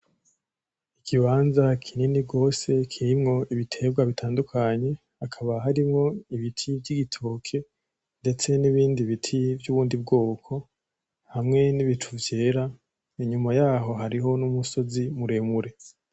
Ikibanza kinini gose kirimwo ibiterwa bitandukanye. Hakaba harimwo ibiti vy'ibitoke, ndetse n'ibindi biti vy'ubindi bwoko. Hamwe n'ibicu vyera. Inyuma yaho hariho n'umusozi muremure.